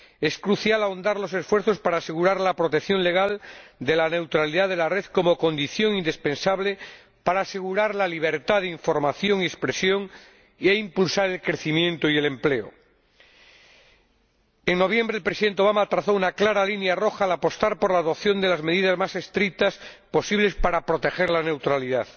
Es crucial ahondar los esfuerzos para asegurar la protección legal de la neutralidad de la red como condición indispensable para asegurar la libertad de información y expresión, e impulsar el crecimiento y el empleo. En noviembre, el presidente Obama trazó una clara línea roja al apostar por la adopción de las medidas más estrictas posibles para proteger la neutralidad.